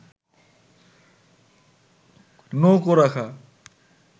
নৌকো রাখা